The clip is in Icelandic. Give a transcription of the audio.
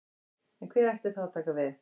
En hver ætti þá að taka við?